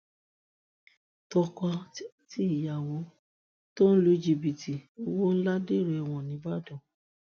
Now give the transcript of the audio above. tọkọtìyàwó tó lu jìbìtì owó ńlá dèrò ẹwọn nìbàdàn